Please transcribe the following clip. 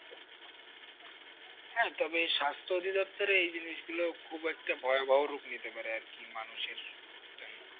হ্যাঁ তবে স্বাস্থ্য অধিদপ্তরে এই জিনিস খুব একটা ভয়াবহ রূপ নিতে পারে আর কি মানুষের জন্য